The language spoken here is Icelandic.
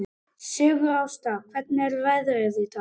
Sigurásta, hvernig er veðrið í dag?